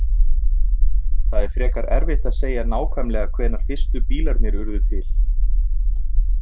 Það er frekar erfitt að segja nákvæmlega hvenær fyrstu bílarnir urðu til.